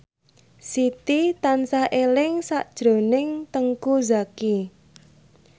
Siti tansah eling sakjroning Teuku Zacky